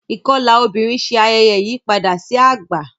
ikọla obìrin Ṣe ayẹyẹ ìyípadà sí àgbà.